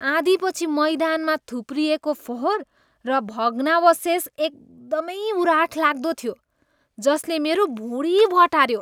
आँधीपछि मैदानमा थुप्रिएको फोहोर र भग्नावशेष एकदमै उराठ लाग्दो थियो, जसले मेरो भुँडी बटार्यो।